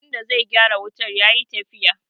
wanda zai gyara wutar ya yi tafiya